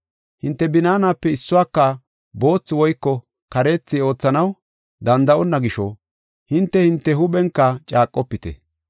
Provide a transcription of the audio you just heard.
Hinte binaanape issuwaka boothi woyko kareethi oothanaw danda7onna gisho, hinte, hinte huuphenka caaqofite.